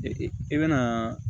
i bɛna